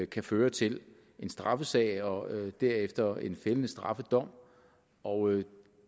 kan føre til en straffesag og derefter en fældende straffedom og